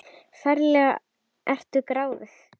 Ferlega ertu gráðug!